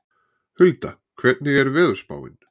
Hulda, hvernig er veðurspáin?